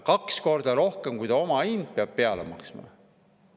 Kaks korda rohkem, kui on omahind, peab peale maksma.